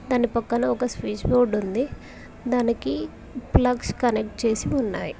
దాని పక్కన ఒక స్విచ్ బోర్డ్ ఉంది దానికి ప్లగ్స్ కనెక్ట్ చేసి ఉన్నాయి.